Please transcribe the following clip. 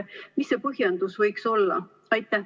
Mis see põhjendus võiks olla?